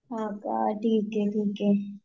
हा का ठिक आहे ठिक आहे